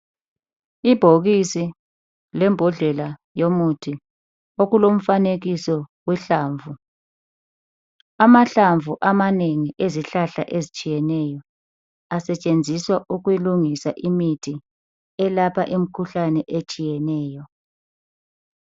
Ibhokisi lembodlela yomuthi okulomfanekiso wohlamvu. Amahlamvu amanengi ezihlahla ezitshiyeneyo asetshenziswa ukulungisa imithi elapha imikhuhlane eyehlukeneyo.